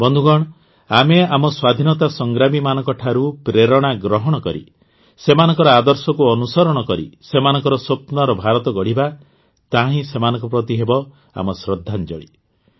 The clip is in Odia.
ବନ୍ଧୁଗଣ ଆମେ ଆମ ସ୍ୱାଧୀନତା ସଂଗ୍ରାମୀମାନଙ୍କ ଠାରୁ ପ୍ରେରଣା ଗ୍ରହଣ କରି ସେମାନଙ୍କ ଆଦର୍ଶକୁ ଅନୁସରଣ କରି ସେମାନଙ୍କ ସ୍ୱପ୍ନର ଭାରତ ଗଢ଼ିବା ତାହାହିଁ ସେମାନଙ୍କ ପ୍ରତି ହେବ ଆମ ଶ୍ରଦ୍ଧାଞ୍ଜଳୀ